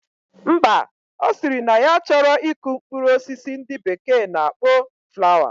Mba, osiri na ya achoro iku mkprur osisi ndi bekee na akpo flower